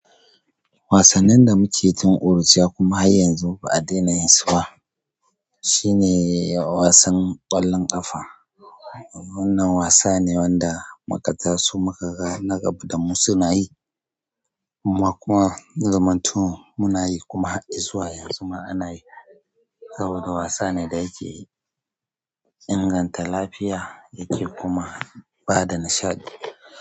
Wasannin da muke tun ƙuruciya kuma har yanzu ba a dena yin su ba, shine wasan ƙwallon ƙafa. Wannan wasa ne wanda mukatasu muka ga na gaba damu suna yi, kuma zamanto muna yi kuma har izuwa yanzu ma ana yi. Saboda wasa ne da yake inganta lafiya yake kuma bada nishaɗi.